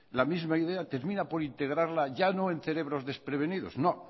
la misma idea termina por integrarla ya no en cerebros desprevenidos no